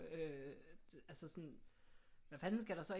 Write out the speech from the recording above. Øh altså sådan hvad fanden skal der så ikke